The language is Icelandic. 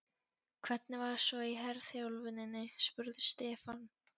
Hvernig var svo í herþjálfuninni? spurði Stefán.